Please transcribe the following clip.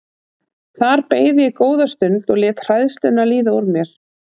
Þar beið ég góða stund og lét hræðsluna líða úr mér.